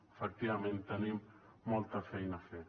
efectivament tenim molta feina a fer